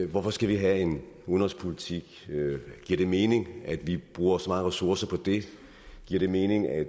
hvorfor skal vi have en udenrigspolitik giver det mening at vi bruger så mange ressourcer på det giver det mening at